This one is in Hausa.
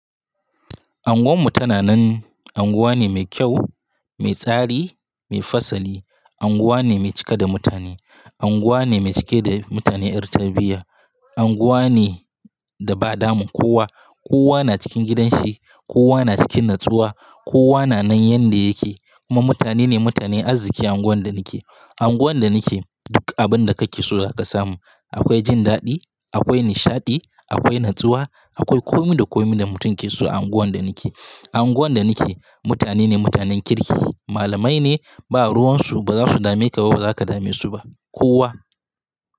Anguwan mu tana nan, unguwa ne mai kyau, mai tsari, mai fasali. Anguwa ne mai cika da mutane. Anguwa ne mai cike de mutane ƴar tarbiyya. Anguwa ne da ba damu. Kowa, kowa na cikin gidan shi, kowa na cikin natsuwa, kowa na nan yanda yake. Kuma mutane ne mutane azziki unguwar da nake. Unguwar da nake duk abin da kake so zaka samu. Akwai jin daɗi, akwai nishaɗi, akwai natsuwa, akwai komi da komi da mutum ke so a unguwar da nake. A unguwar da nake mutane ne mutanen kirki. Malamai ne ba ruwan su ba za su dame ka ba, ba za ka dame su ba kowa.